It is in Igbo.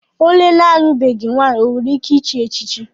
Onye alụbeghi nwaanyị o nwere ike ịchị echichi?